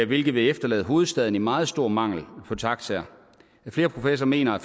hvilket vil efterlade hovedstaden i meget stor mangel på taxaer flere professorer mener at